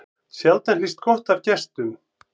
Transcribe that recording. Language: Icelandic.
Sjaldan hlýst gott af gestum.